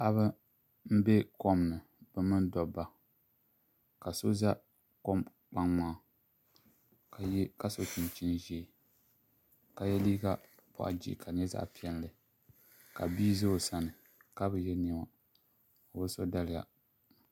Paɣaba n ʒɛ kom ni bi mini dabba ka so ʒɛ kom kpaŋa ka so chinchin ʒiɛ ka yɛ liiga boɣa jihi ka di nyɛ zaɣ piɛlli ka bia ʒɛ o sani ka bi yɛ niɛma o bi so daliya